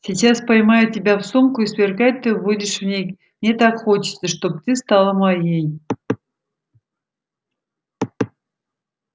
сейчас поймаю тебя в сумку и сверкать ты будешь в ней мне так хочется чтоб стала ты моей